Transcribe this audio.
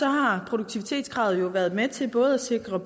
har produktivitetskravet været med til både at sikre